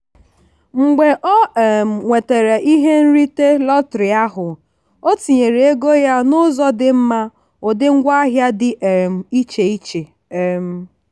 mgbe ọ um nwetara ihe nrite lọtrị ahụ ọ tinyere ego ya n'ụzọ dị mma ụdị ngwaahịa dị um iche iche. um